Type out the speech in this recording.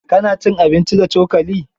Ka na cin abinci da cokali?